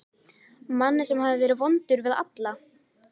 Manni sem hafði verið vondur við alla.